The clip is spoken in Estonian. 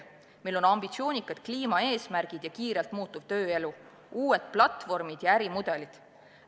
Meil on ambitsioonikad kliimaeesmärgid ja kiirelt muutuv tööelu, uued platvormid ja ärimudelid.